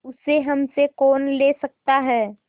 उसे हमसे कौन ले सकता है